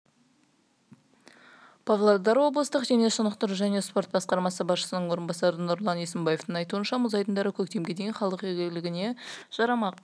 павлодар облыстық дене шынықтыру және спорт басқармасы басшысының орынбасары нұрлан есембаевтің айтуныша мұз айдындары көктемге дейін халық игілігіне жарамақ